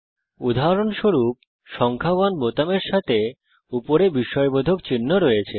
উদাহরণস্বরূপ সংখ্যা 1 বোতামের সাথে উপরে বিস্ময়বোধক চিহ্ন আছে